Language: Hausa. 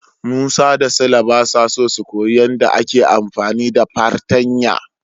Musa da Sule basa so su koyi yadda ake amfani da fartanya.